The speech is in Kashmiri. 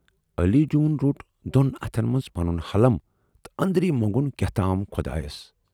" علی جوٗوُن روٹ دۅن اَتھن منز پنُن ہلم تہٕ ٲندری مونگُن کیاہتام خۅدایَس۔